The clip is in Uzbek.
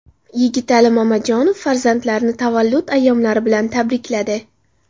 Yigitali Mamajonov farzandlarini tavallud ayyomlari bilan tabrikladi.